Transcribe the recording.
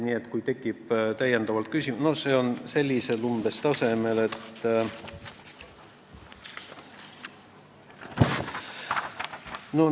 Need olid umbes sellise tasemega, nagu ...